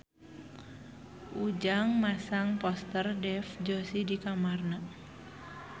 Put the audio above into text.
Ujang masang poster Dev Joshi di kamarna